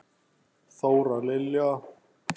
Þóra Lilja.